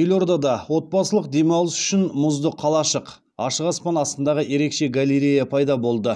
елордада отбасылық демалыс үшін мұзды қалашық ашық аспан астындағы ерекше галерея пайда болды